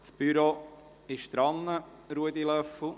Das Büro arbeitet daran, Ruedi Löffel.